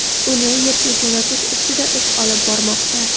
uni Yerga jo‘natish ustida ish olib bormoqda.